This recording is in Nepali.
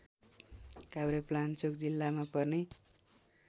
काभ्रेपलाञ्चोक जिल्लामा पर्ने